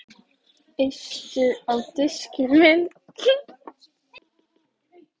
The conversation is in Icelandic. Eistu á diskinn minn